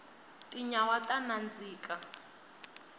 tinyawa ta nandzika